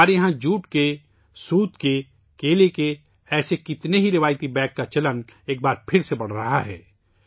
ہمارے یہاں جوٹ، سوت ، کیلے جیسی چیزوں سے روایتی تھیلوں کا چلن ایک بار پھر بڑھ رہا ہے